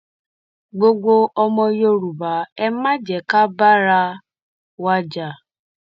gbogbo ọmọ yorùbá ẹ má jẹ ká bára wa jà